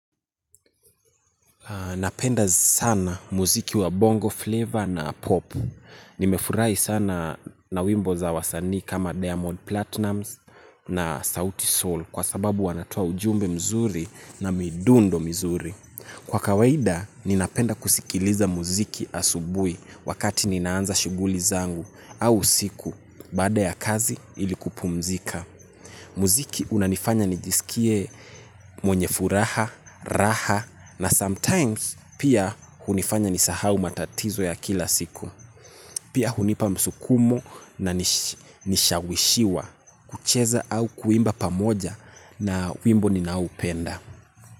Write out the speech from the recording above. Napenda sana muziki wa bongo flavor na popu. Nimefurahi sana na wimbo za wasani kama diamond platinum na sauti soul kwa sababu wanatoa ujumbe mzuri na midundo mizuri. Kwa kawaida, ninapenda kusikiliza muziki asubui wakati ninaanza shuguli zangu au usiku baada ya kazi ilikupumzika. Muziki unanifanya nijisikie mwenye furaha, raha na sometimes pia unifanya nisahau matatizo ya kila siku. Pia unipa msukumo na nishawishiwa kucheza au kuimba pamoja na wimbo ninaoupenda.